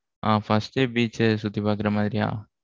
ஆ first ஏ beach அ சுத்தி பார்க்கிற மாதிரியா?